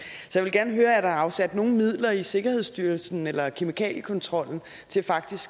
vil gerne høre er der afsat nogen midler i sikkerhedsstyrelsen eller kemikaliekontrollen til faktisk